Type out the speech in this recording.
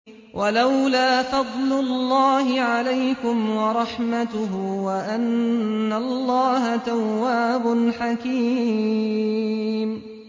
وَلَوْلَا فَضْلُ اللَّهِ عَلَيْكُمْ وَرَحْمَتُهُ وَأَنَّ اللَّهَ تَوَّابٌ حَكِيمٌ